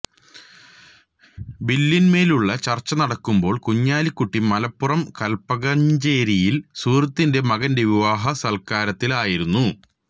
ബില്ലിന്മേലുള്ള ചർച്ചനടക്കുമ്പോൾ കുഞ്ഞാലിക്കുട്ടി മലപ്പുറം കൽപ്പകഞ്ചേരിയിൽ സുഹൃത്തിന്റെ മകന്റെ വിവാഹ സൽക്കാരത്തിലായിരുന്നു